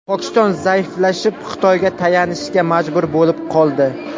Pokiston zaiflashib, Xitoyga tayanishga majbur bo‘lib qoldi.